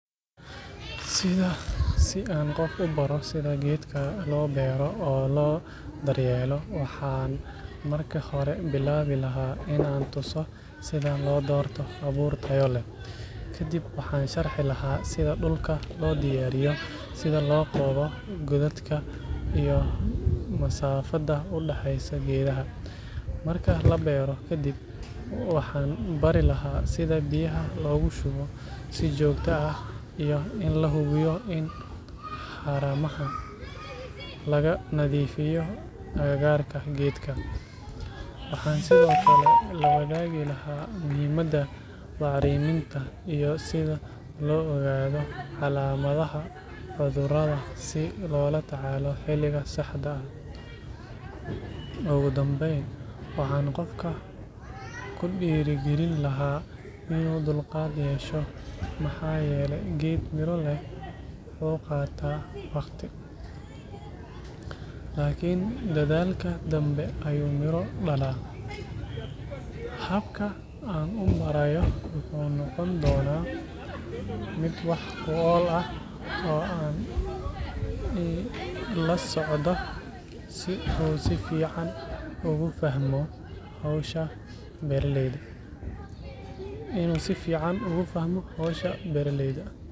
Si aan qof u baro sida geedkan loo beero oo loo daryeelo, waxaan marka hore bilaabi lahaa in aan tuso sida loo doorto abuur tayo leh. Kadib waxaan sharxi lahaa sida dhulka loo diyaariyo, sida loo qodo godadka, iyo masaafada u dhexeysa geedaha. Marka la beero ka dib, waxaan bari lahaa sida biyaha loogu shubo si joogto ah iyo in la hubiyo in haramaha laga nadiifiyo agagaarka geedka. Waxaan sidoo kale la wadaagi lahaa muhiimadda bacriminta iyo sida loo ogaado calaamadaha cudurrada si loola tacaalo xilliga saxda ah. Ugu dambeyn, waxaan qofka ku dhiirrigelin lahaa in uu dulqaad yeesho, maxaa yeelay geed miro leh wuu qaataa waqti, laakiin dadaalka dambe ayuu miro dhalaa. Habka aan u barayo wuxuu noqon doonaa mid wax ku ool ah oo aan la socdo si uu si fiican ugu fahmo hawsha beeraleyda.